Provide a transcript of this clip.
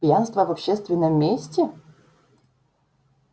пьянство в общественном месте